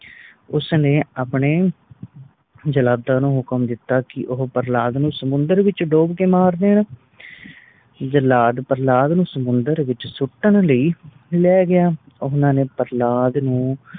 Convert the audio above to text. ਉਸ ਨੇ ਆਪਣੇ ਜਲਾਦਾਂ ਨੂੰ ਹੁਕਮ ਦਿੱਤੋ ਕਿ ਉਹ ਪ੍ਰਹਲਾਦ ਨੂੰ ਸਮੁੰਦਰ ਵਿਚ ਡੋਬ ਕ ਮਾਰ ਦੇਣ ਜਲਾਦ ਪ੍ਰਹਲਾਦ ਨੂੰ ਸਮੁੰਦਰ ਵਿਚ ਸੁੱਟਣ ਲਈ ਲੈ ਗਯਾ ਓਹਨਾ ਨੇ ਪ੍ਰਹਲਾਦ ਨੂੰ